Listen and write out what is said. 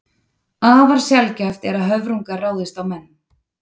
Afar sjaldgæft er að höfrungar ráðist á menn.